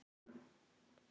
Hvaða rugl var þetta nú?